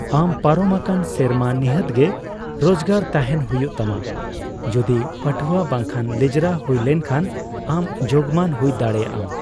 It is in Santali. ᱟᱢ ᱯᱟᱨᱚᱢ ᱟᱠᱟᱱ ᱥᱮᱨᱢᱟ ᱱᱤᱦᱟᱹᱛ ᱜᱮ ᱨᱳᱡᱜᱟᱨ ᱛᱟᱦᱮᱸᱱ ᱦᱩᱭᱩᱜ ᱛᱟᱢᱟ, ᱡᱳᱫᱤ ᱯᱟᱹᱴᱷᱟᱹᱣᱟᱹ ᱵᱟᱝᱠᱷᱟᱱ ᱞᱮᱡᱨᱟ ᱦᱩᱭ ᱞᱮᱱᱠᱷᱟᱱ ᱟᱢ ᱡᱳᱜᱢᱟᱱ ᱦᱩᱭ ᱫᱟᱲᱮᱭᱟᱜᱼᱟᱢ ᱾